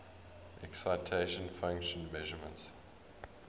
excitation function measurements